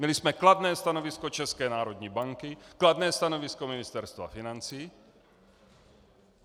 Měli jsme kladné stanovisko České národní banky, kladné stanovisko Ministerstva financí.